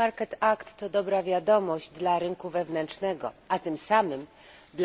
Market Act to dobra wiadomość dla rynku wewnętrznego, a tym samym dla przedsiębiorstw, konsumentów i obywateli.